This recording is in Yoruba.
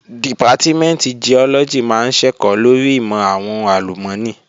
Dìpátímẹ̀ntì Giọ́lọ́gì máa ń ṣẹ̀kọ́ lórí ìmọ̀ àwọn ohùn àlùmọ́nì